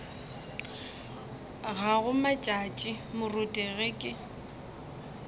gago matšatši moruti ge ke